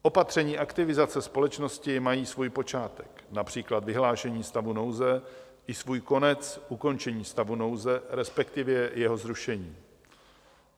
Opatření aktivizace společnosti mají svůj počátek, například vyhlášení stavu nouze, i svůj konec, ukončení stavu nouze, respektive jeho zrušení.